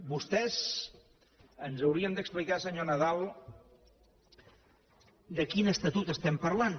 vostès ens haurien d’explicar senyor nadal de quin estatut estem parlant